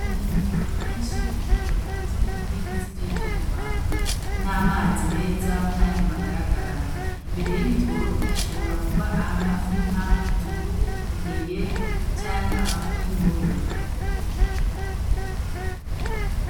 Hari imitoro myinshi hari imitoro ikoze ukoze muburingiti bw'ivyuma n'amazi meza kandi magaragara, imbere y'imitoro hashobora kuba amafi nka inzugu, ingege canke amafi y'ingoro.